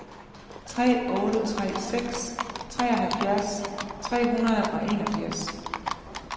tre otte tre seks treoghalvfjerds tre hundrede og enogfirs